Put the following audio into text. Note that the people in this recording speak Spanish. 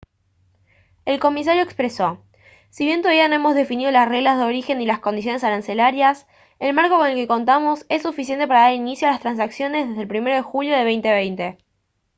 el comisario expresó: «si bien todavía no hemos definido las reglas de origen ni las condiciones arancelarias el marco con el que contamos es suficiente para dar inicio a las transacciones desde el 1 de julio de 2020»